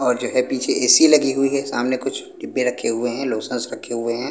और जो है पीछे ए_ सी_ लगी हुई है सामने कुछ डिब्बे रखे हुए हैं लोशंस रखे हुए हैं।